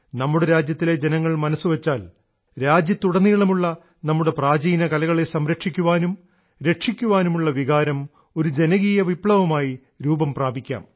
നമ്മുടെ രാജ്യത്തിലെ ജനങ്ങൾ മനസ്സുവെച്ചാൽ രാജ്യത്തുടനീളമുള്ള നമ്മുടെ പ്രാചീനകലകളെ സംരക്ഷിക്കാനും രക്ഷിക്കാനുമുള്ള വികാരം ഒരു ജനകീയ വിപ്ലവമായി രൂപംപ്രാപിക്കാം